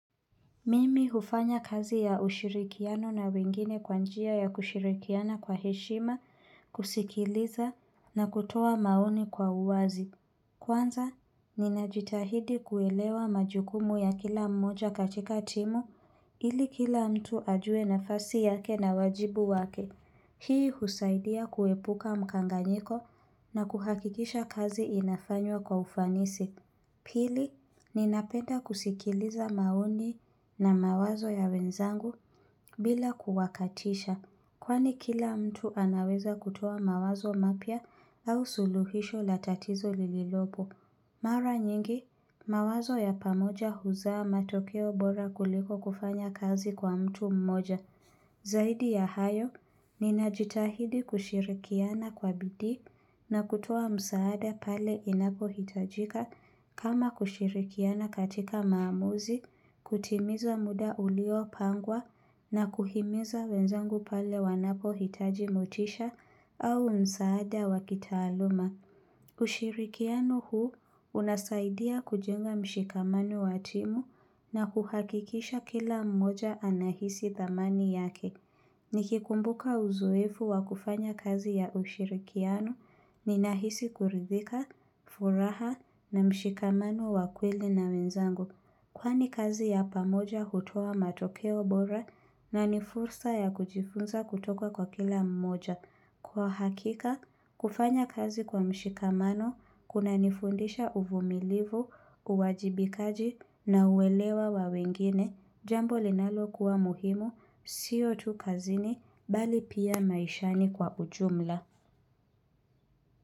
Mimi hufanya kazi ya ushirikiano na wengine kwanjia ya kushirikiana kwa heshima, kusikiliza na kutoa maoni kwa uwazi. Kwanza, ninajitahidi kuelewa majukumu ya kila mmoja katika timu ili kila mtu ajue nafasi yake na wajibu wake. Hii husaidia kuepuka mkanganyiko na kuhakikisha kazi inafanywa kwa ufanisi. Pili, ninapenda kusikiliza maoni na mawazo ya wenzangu bila kuwakatisha kwani kila mtu anaweza kutoa mawazo mapya au suluhisho la tatizo lililopo. Mara nyingi, mawazo ya pamoja huzaa matokeo bora kuliko kufanya kazi kwa mtu mmoja. Zaidi ya hayo, ninajitahidi kushirikiana kwa bidii na kutoa msaada pale inapo hitajika kama kushirikiana katika maamuzi, kutimiza muda ulio pangwa na kuhimiza wenzangu pale wanapo hitaji mutisha au msaada waki taaluma. Ushirikiano huu unasaidia kujenga mshikamani wa timu na kuhakikisha kila mmoja anahisi dhamani yake. Nikikumbuka uzoefu wa kufanya kazi ya ushirikiano nina hisi kuridhika, furaha na mshikamano wa kweli na menzangu. Kwani kazi ya pamoja hutoa matokeo bora na ni fursa ya kujifunza kutoka kwa kila mmoja. Kwa hakika, kufanya kazi kwa mshikamano, kuna nifundisha uvumilivu, uwajibikaji na uwelewa wa wengine, jambo linalo kuwa muhimu, siyo tu kazini, bali pia maishani kwa ujumla.